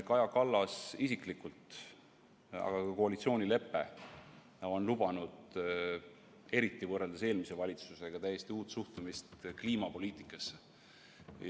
Kaja Kallas isiklikult ja ka koalitsioonilepe on lubanud, eriti võrreldes eelmise valitsusega, täiesti uut suhtumist kliimapoliitikasse.